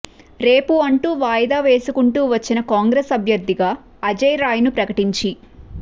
రేపూ అంటూ వాయిదా వేసుకుంటూ వచ్చిన కాంగ్రెస్ అభ్యర్థిగా అజయ్ రాయ్ ని ప్రకటించి